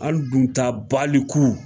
An nun ta baliku